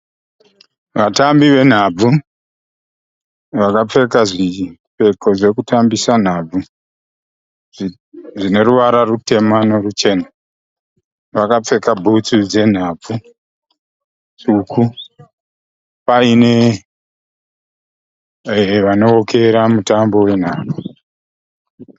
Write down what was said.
Vatambi venhabvu vakapfeka zvipfeko zvekutambisa nhabvu zvineruvara rutema neruchena. Vakapfeka bhutsu dzenhabvu tsvuku paine vanowokera mutambo we nhabvu